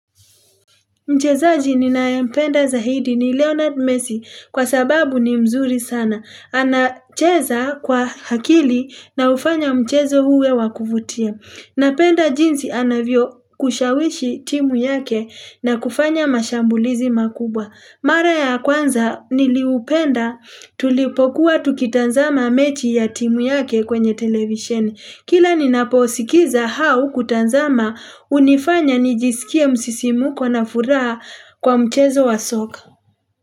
Mchezaji ninayempenda zaidi ni Leonard Messi kwa sababu ni mzuri sana. Anacheza kwa akili nahufanya mchezo uwe wa kuvutia. Napenda jinsi anavyokushawishi timu yake na kufanya mashambulizi makubwa. Mara ya kwanza niliupenda tulipokuwa tukitazama mechi ya timu yake kwenye television. Kila ninaposikiza au kutazama hunifanya nijisikie msisimuko na furaha kwa mchezo wa soka.